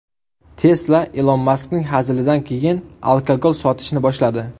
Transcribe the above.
Tesla Ilon Maskning hazilidan keyin alkogol sotishni boshladi.